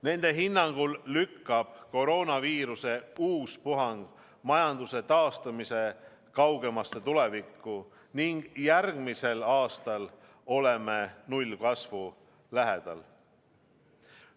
Nende hinnangul lükkab koroonaviiruse uus puhang majanduse taastamise kaugemasse tulevikku ning järgmisel aastal oleme nullkasvu lähedal.